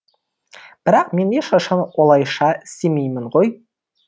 бірақ мен ешқашан олайша істемеймін ғой